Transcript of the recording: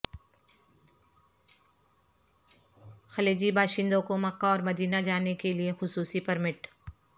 خلیجی باشندوں کو مکہ اور مدینہ جانے کے لیے خصوصی پرمٹ